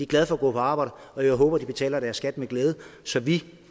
glade for at gå på arbejde og jeg håber de betaler deres skat med glæde så vi